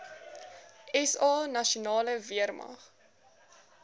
sa nasionale weermag